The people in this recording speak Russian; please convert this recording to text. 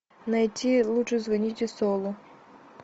найти лучше звоните солу